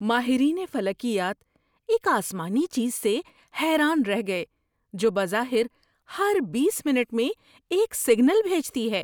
ماہرین فلکیات ایک آسمانی چیز سے حیران رہ گئے جو بظاہر ہر بیس منٹ میں ایک سگنل بھیجتی ہے۔